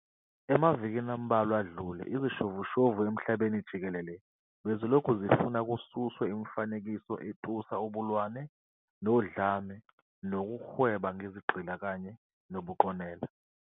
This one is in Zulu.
Emavikini ambalwa adlule, izishoshovu emhlabeni jikelele bezilokhu zifuna kususwe imifanekiso etusa ubulwane nodlame lokuhweba ngezigqila kanye nobuqonela.